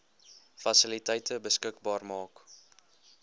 fasiliteite beskikbaar maak